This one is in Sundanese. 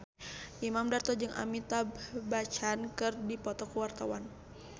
Imam Darto jeung Amitabh Bachchan keur dipoto ku wartawan